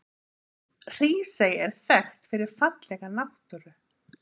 Hrísey er þekkt fyrir fallega náttúru.